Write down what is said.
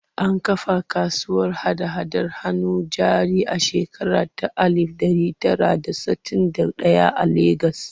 An kafa kasuwar hada-hadar hannun jari a shekara ta alif ɗari tara da sittin da ɗaya a Legas.